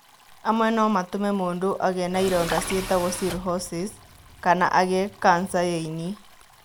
Amwe no matũme mũndũ agĩe na ironda ciĩtagwo cirrhosis kana agĩe kanca ya ĩni.